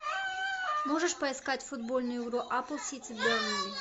можешь поискать футбольную игру апл сити бернли